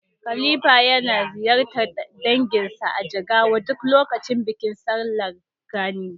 Halifa yana ziyartar danginsa a Jigawa duk lokacin bikin sallar Gani.